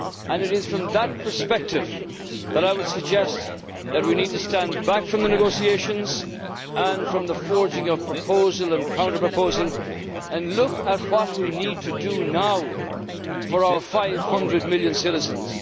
It is from that perspective that I would suggest that we need to stand back from the negotiations and from the forgeing of proposal and counter proposal and look at what we need to do now for our 500 million citizens.